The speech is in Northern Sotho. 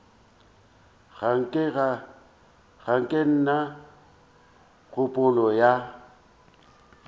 ga ke na kgopolo ya